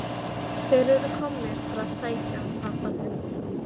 Þeir eru komnir til að sækja hann pabba þinn.